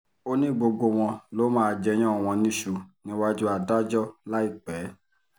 ó ní gbogbo wọn ló máa jẹyàn wọn níṣu níwájú adájọ́ láìpẹ́